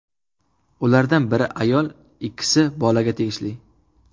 Ulardan biri ayol, ikkisi bolaga tegishli.